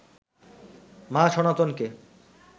মা সনাতনকে